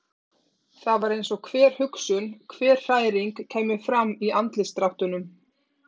Það var eins og hver hugsun, hver hræring kæmi fram í andlitsdráttunum.